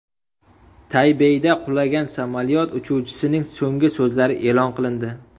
Taybeyda qulagan samolyot uchuvchisining so‘nggi so‘zlari e’lon qilindi.